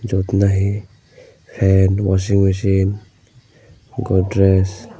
jyot nahi fan washing mesin godres.